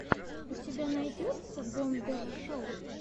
у тебя найдется бомбер шоу